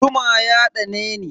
Zuma ya ɗaneni.